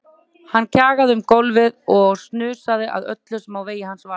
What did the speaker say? Hann kjagaði um gólfið og snusaði að öllu sem á vegi hans varð.